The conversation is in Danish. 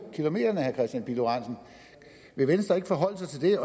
kilometerne vil venstre ikke forholde sig til det